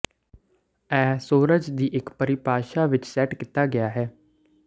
ਇਹ ਸੂਰਜ ਦੀ ਇਕ ਪਰਿਭਾਸ਼ਾ ਵਿਚ ਸੈੱਟ ਕੀਤਾ ਗਿਆ ਹੈ